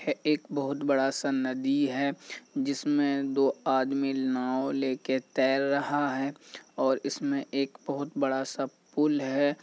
यह एक बहुत बड़ा सा नदी है जिसमें दो आदमी नाव ले के तैर रहा है और इसमें एक बहुत बड़ा सा पुल है।